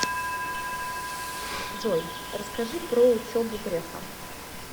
джой расскажи про учебу грефа